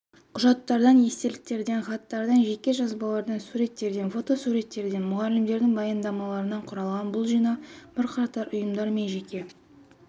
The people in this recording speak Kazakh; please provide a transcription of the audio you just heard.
құжаттардан естеліктерден хаттардан жеке жазбалардан суреттерден фотосуреттерден мұғалімдердің баяндамаларынан құралған бұл жинақ бірқатар ұйымдар мен жеке